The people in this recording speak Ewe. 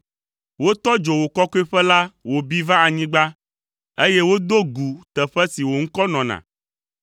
Wotɔ dzo wò kɔkɔeƒe la wòbi va anyigba, eye wodo gu teƒe si wò Ŋkɔ nɔna.